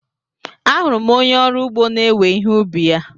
Ahụrụ m onye ọrụ ugbo na-ewe ihe ubi ya.